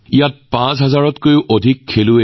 ইয়াত দেশৰ ৫০০০ৰো অধিক খেলুৱৈয়ে অংশগ্ৰহণ কৰিছে